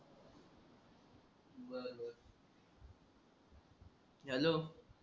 hello